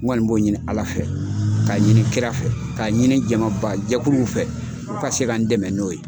N kɔni b'o ɲini ALA fɛ k'a ɲini kira fɛ k'a ɲini jamabaajɛkulu fɛ u ka se ka n dɛmɛ n'o ye.